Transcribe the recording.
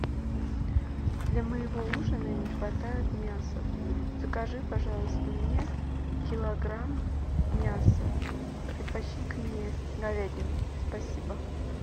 для моего ужина не хватает мяса закажи пожалуйста мне килограмм мяса предпочтительнее говядину спасибо